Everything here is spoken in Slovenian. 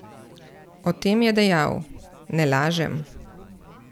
O tem je dejal: "Ne lažem.